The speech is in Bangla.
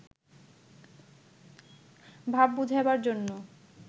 ভাব বুঝাইবার জন্য